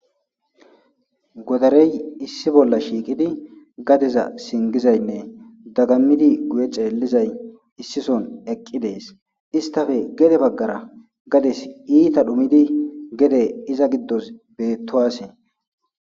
godarey issi bolla shiiqidi gadeza singizaynne dagammidi guye ceellizay issison eqqi dees istafe gede baggara gades iita dhumidi gede iza giddos beettowasee